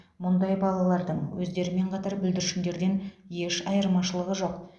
мұндай балалардың өздерімен қатар бүлдіршіндерден еш айырмашылығы жоқ